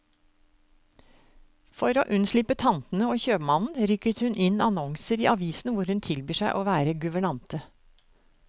For å unnslippe tantene og kjøpmannen, rykker hun inn annonser i avisen hvor hun tilbyr seg å være guvernante.